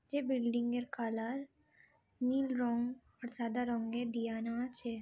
যে বিল্ডিং -এর কালার নীল রং আর সাদা রঙের দেয়ানো আছে।